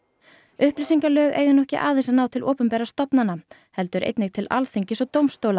upplýsingalög eiga nú ekki aðeins að ná til opinberra stofnana heldur einnig til Alþingis og dómstóla